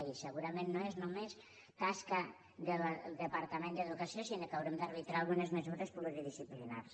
i segurament no és tasca del departament d’educació sinó que haurem d’arbitrar algunes mesures pluridisciplinàries